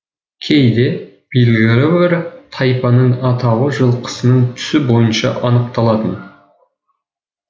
кейде белгілі бір тайпаның атауы жылқысының түсі бойынша анықталатын